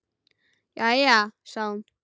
Jæja sagði hún.